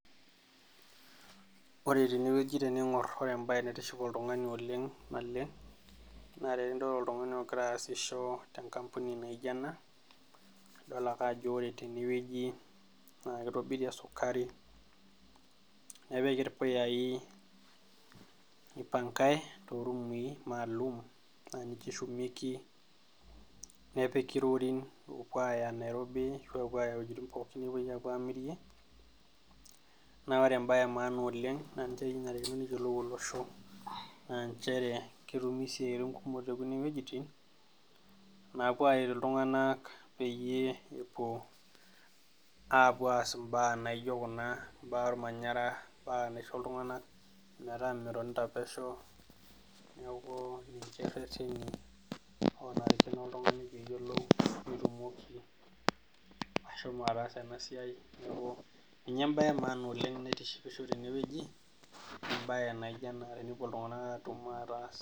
Ore teeene wueji teniing'or naa ore embaye naitiship oltung'ani oleng' naleng', naa tenidol oltung'ani ogira asisho tenkampuni naijo eena, idol ake ajo ore tene wueji naa keitobiri esukari, nepiki irpuyai, neipankae toroomi maalum naa ninche eshumieki, nepiki ilorin loopuo aaya Nairobi araki loopuo aaya iwuejitin pooki namirieki, naa oore embaye e maana oleng nanare neyiolou olosho, ketumi isiaitin kumok te kuuan wuejitin naapuo naaapuo aretu iltung'anak peyie epuo aas imbaa naijo kuuna, imbaa ormanyara paa meisho iltung'anak metaa ketonita pesho niaku ninche irereni onarikino oltung'ani peyie eyiolou, pe etumoki ashomo ataasa eena siai, niaku ninye embaye e maana oleng' naitishipisho teene wueji, embaye naijo eena tenepuo iltung'anak atum ataas.